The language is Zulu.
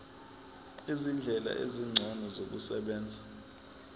izindlela ezingcono zokusebenza